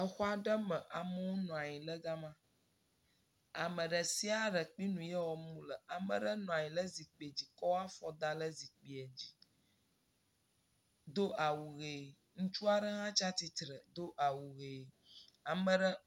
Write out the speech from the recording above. Exɔa ɖe me amewo nɔ anyi le gama, ame ɖe sia ɖe kple nu yi wɔm wole, ame aɖe nɔ anyi le zikpe dzi kɔ afɔ da le zikpoe dzi do awu hee, ŋutsu aɖe hã tsi atsitre do awu hee.